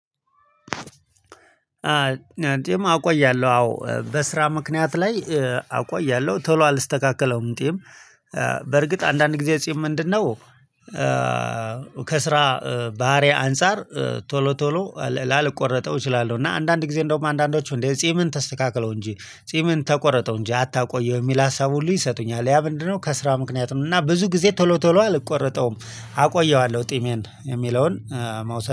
እንግዲህ አቆያለሁ አዎ በስራ ምክንያት ላይ አቆያለሁ ቶሎ አልስተካከለውም እንዲህም በርግጥ አንዳንድ ጊዜ ጺም ምንድነው? ከስራ ባህሪ አንፃር ቶሎ ቶሎ ላልቆረጠው እችላለሁ። እና አንዳንድ ጊዜ እንደውም አንዳንዶቹ እንዴ ጺምን ተስተካክለው እንጂ ጺምን ተቆረጠው እንጂ አታቆየው የሚል ሀሳብ ሁሉ ይሰጡኛል ያ ምንድነው? ከስራ ምክንያት ነው እና ብዙ ጊዜ ቶሎ ቶሎ አልቆረጠውም። አቆየዋለሁ ጢሜን የሚለውን መውሰድ